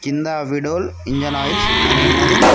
కింద Veedol engine oils అని ఉన్నది.